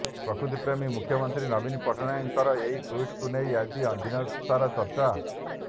ପ୍ରକୃତିପ୍ରେମୀ ମୁଖ୍ୟମନ୍ତ୍ରୀ ନବୀନ ପଟ୍ଟନାୟକଙ୍କର ଏହି ଟ୍ୱିଟକୁ ନେଇ ଆଜି ଦିନସାରା ଚର୍ଚ୍ଚା